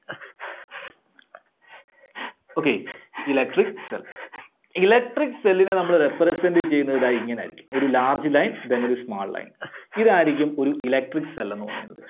okay, Electric Cell. Electric Cell നെ നമ്മള് represent ചെയ്യുന്നത് ദാ ഇങ്ങനെ ആയിരിക്കും. ഒരു large line പിന്നെ ഒരു small line. ഇതായിരിക്കും ഒരു Electric Cell എന്ന് പറയുന്നത്.